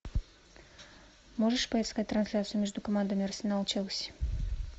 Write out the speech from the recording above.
можешь поискать трансляцию между командами арсенал челси